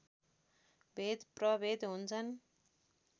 भेद प्रभेद हुन्छन्